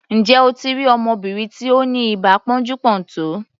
Ǹjẹ́ o ti rí ọmọbìnrin tí ó ni ibà pọ́njú-pọ́ntọ̀?